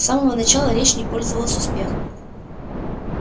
с самого начала речь не пользовалась успехом